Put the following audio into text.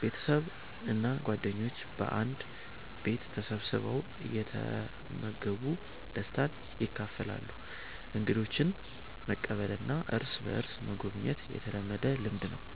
ቤተሰብ እና ጓደኞች በአንድ ቤት ተሰብስበው እየተመገቡ ደስታን ያካፍላሉ። እንግዶችን መቀበልና እርስ በእርስ መጎብኘት የተለመደ ልምድ ነው።